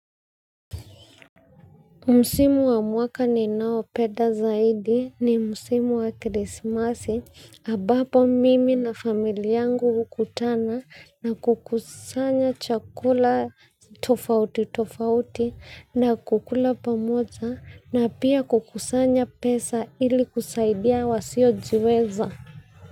Msimu wa mwaka ninaopenda zaidi ni msimu wa krismasi ambapo mimi na familia yangu hukutana na kukusanya chakula tofauti tofauti na kukula pamoja na pia kukusanya pesa ili kusaidia wasiojiweza.